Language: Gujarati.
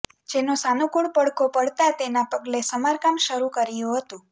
જેનો સાનુકુળ પડઘો પડતાં તેના પગલે સમારકામ શરુ કરીયું હતું